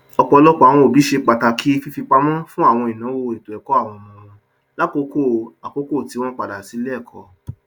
ọpọlọpọ àwọn òbí ṣe pàtàkì fífipamọ fún àwọn ìnáwó ètòẹkọ àwọn ọmọ wọn lákòókò àkókò tí wọn padà sí iléẹkọ